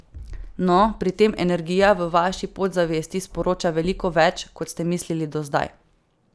No, pri tem energija v vaši podzavesti sporoča veliko več, kot ste mislili do zdaj.